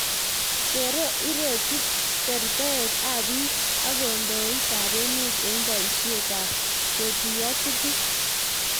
kero iroti tortoek ab biik ak kandoit ab emee eng boiseit ab ketuyo tukuuk?